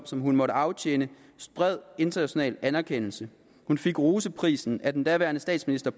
som hun måtte afsone bred international anerkendelse hun fik roseprisen af den daværende statsminister